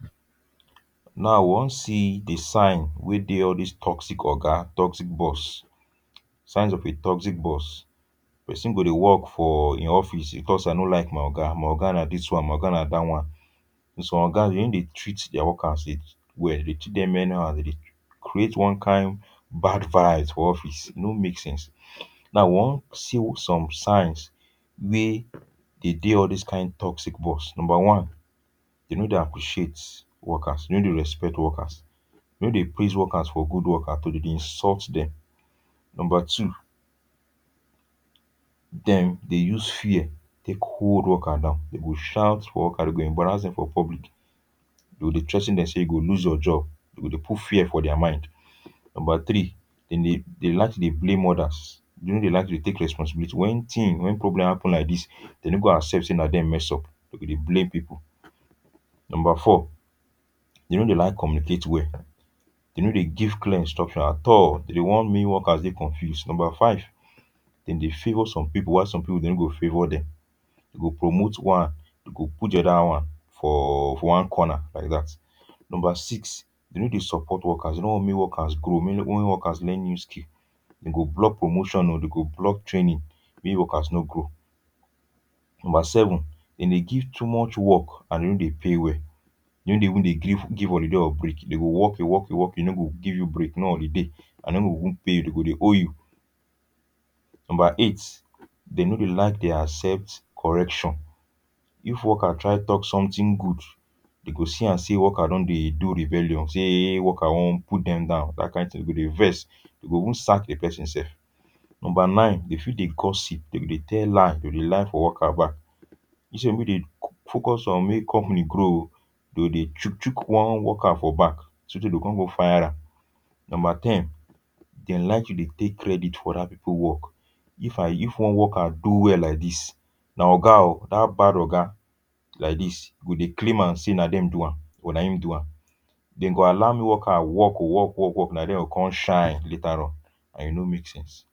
Now, we wan see di sign wey dey all this toxic oga, toxic boss. Signs of a toxic boss. Pesin go dey work for e office. dey talk say i no like my oga, my oga na dis one, my oga na dat one. Some oga, dem no dey treat their workers well. Dey treat dem anyhow. Dem dey create one kain bad vibes for office; e no make sense. Now, we wan see some signs wey dey dey all these toxic boss. Number one, dem no dey appreciate workers. Dem no dey respect workers. Dem no dey praise workers for good work at all. Dem dey insult dem. Number two, dem dey use fear take hold worker down. Dem go shout for worker, dem go embarrass dem for public. Dem go dey threa ten dem say you go lose your job. Dem go dey put fear for their mind. Number three, dem dey dem like to dey blame others. Dem no dey like to dey take responsibility. When team, when problem happen like dis, dem no go accept say na dem mess up. Dem go dey blame people. Number four, dem no dey like communicate well. Dem no dey give clear instruction at all. Dem dey wan make workers dey confuse. Number five, dem dey favour some people, while some people dem no go favour dem. Dem go promote one, dem go put di oda wan for for one corner like that. Number six, dem no dey support workers. Dem no want make workers grow, make make workers learn new skill. Dem go block promotion o, dem go block training, make workers no grow. Number seven, dem dey give too much work and dem no dey pay well. Dem no dey even dey give give holiday or break. Dem go work you work you work you, dem no go give you break; no holiday. And dem no go even pay you. Dem go owe you. Number eight, dem no dey like dey accept correction. If worker try talk something good dem go see am say worker don dey do rebellion, say worker wan put dem down. Dat kain tin. Dem go dey vex. Dem go even sack di person sef. Number nine, dem fit dey gossip. Dem go dey tell lie, dem go dey lie for worker back. Instead make dem focus on make company grow o, dem go dey chook chook one worker for back, sotey dem go come go fire am. Number ten, dem like to dey take credit for other people work. If I, if one worker do well like dis, na oga o dat bad oga like dis go dey claim am say na dem do am, or na im do am. Dem go allow worker work o, work, work, work, na dem go come shine later on, and e no make sense.